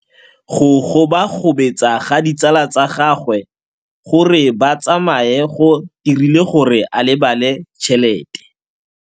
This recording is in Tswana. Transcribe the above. Go gobagobetsa ga ditsala tsa gagwe, gore ba tsamaye go dirile gore a lebale tšhelete.